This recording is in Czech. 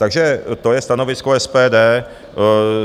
Takže to je stanovisko SPD.